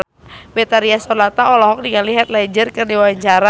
Betharia Sonata olohok ningali Heath Ledger keur diwawancara